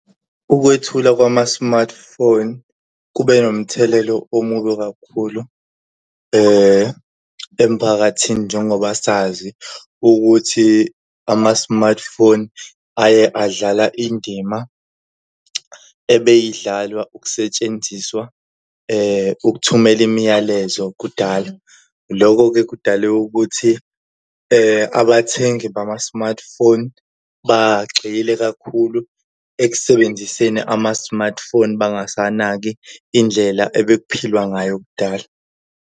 Ukwethula kwama-smartphone kube nomthelelo omubi kakhulu emphakathini njengoba sazi ukuthi ama-smartphone aye adlala indima ebeyidlalwa ukusetshenziswa ukuthumela imiyalezo kudala. Lokho-ke kudale ukuthi abathengi bama-smartphone bagxile kakhulu ekusebenziseni ama-smartphone bangasanaki indlela ebekuphilwa ngayo kudala.